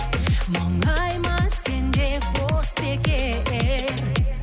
мұңайма сен де бос бекер